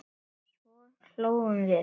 Svo hlógum við.